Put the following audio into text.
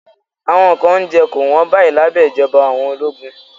Awọn nkan ounjẹ ko won bayi labẹ ijọba awọn ologun